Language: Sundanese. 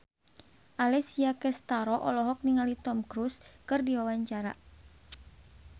Alessia Cestaro olohok ningali Tom Cruise keur diwawancara